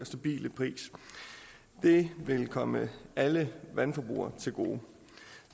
stabile pris det vil komme alle vandforbrugere til gode